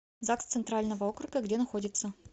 загс центрального округа где находится